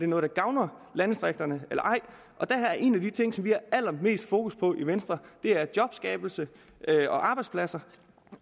noget der gavner landdistrikterne eller ej og en af de ting vi har allermest fokus på i venstre er jobskabelse og arbejdspladser